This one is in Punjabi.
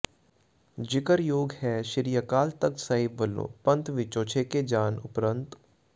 ਜਿਕਰ ਯੋਗ ਹੈ ਸ੍ਰੀ ਅਕਾਲ ਤਖਤ ਸਾਹਿਬ ਵਲੋਂ ਪੰਥ ਵਿਚੋਂ ਛੇਕੇ ਜਾਣ ਉਪਰੰਤ ਪ੍ਰੋ